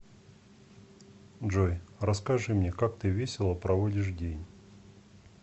джой расскажи мне как ты весело проводишь день